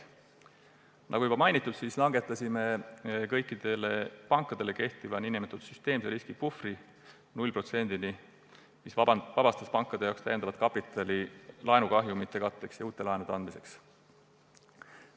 Nagu juba mainitud, viisime kõikidele pankadele kehtiva nn süsteemse riski puhvri 0%-ni, mis vabastas pankade jaoks lisakapitali laenukahjumi katteks ja uute laenude andmiseks.